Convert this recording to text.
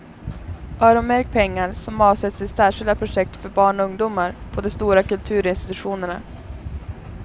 Öronmärk pengar som avsätts till särskilda projekt för barn och ungdomar på de stora kulturinstitutionerna.